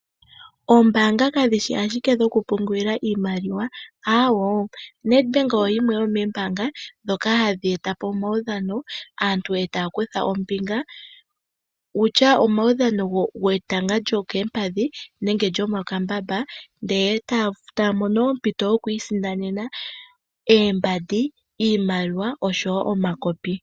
Ombaanga kadhi shi ashike dhokupungula iimaliwa, aawo. NedBank oyo yimwe yomoombanga dhoka hadhi etapo omaudhano, aantu e taya kutha ombinga. Wutya etanga lyokoompadhi nenge lyo mokambamba, e taya mono ompito yoku isindanena oombandi, iimaliwa oshowo omakopi.